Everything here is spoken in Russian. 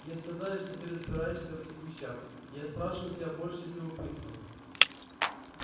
мне сказали что ты разбираешься в этих вещах я спрашиваю тебя больше из любопытства